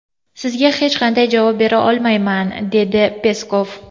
Sizga hech qanday javob bera olmayman”, dedi Peskov.